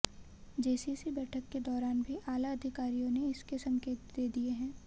JCC बैठक के दौरान भी आला अधिकारियों ने इसके संकेत दे दिए हैं